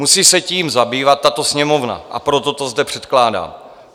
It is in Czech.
Musí se tím zabývat tato Sněmovna, a proto to zde předkládám.